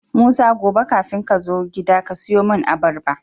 musa gobe kafin kazo gida kasiyo mun abarba